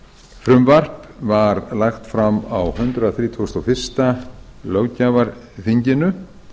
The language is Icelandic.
frumvarp var lagt fram á hundrað þrítugasta og fyrstu löggjafarþinginu